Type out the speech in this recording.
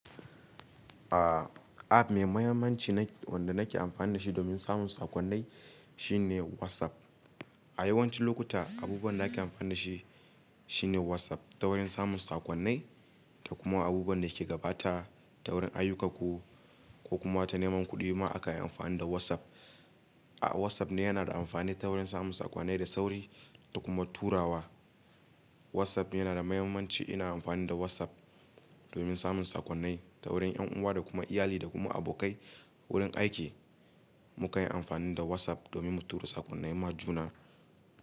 A app mai mahimmanci na biyu wanda nake amfani dashi domin samun sakonnai shine WhatsApp. A yawancin lokuta, abubuwan da ake amfani shi shine WhatsApp ta wurin samun sakonnai da kuma abubuwan da ke gabata ta wurin ayyukkanku ko kuma ta neman kuɗi ma akayi amfani da WhatsApp. A WhatsApp ne yana da amfani ta wurin samun sakonnai da sauri da kuma turawa. WhatsApp yana da mahimmanci. Ina amfani da WhatsApp domin samun sakonnai ta wurin en uwa da kuma iyali da kuma abokai wurin aiki mukanyi amfani da WhatsApp domin mu tura sakonnai ma juna.